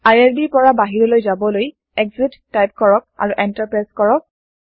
Irbৰ পৰা বাহিৰলৈ যাবলৈ এক্সিট টাইপ কৰক আৰু এন্টাৰ প্ৰেছ কৰক